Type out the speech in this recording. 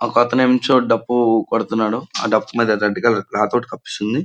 ఒకతనేమంచో డప్పు కొడుతున్నాడు ఆ డప్పు మీద రెడ్ కలర్ క్లాత్ ఒకటి కప్పేసి ఉంది.